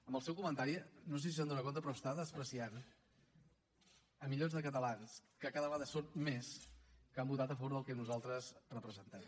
amb el seu comentari no se si se n’adona però està menyspreant milions de catalans que cada vegada són més que han votat a favor del que nosaltres representem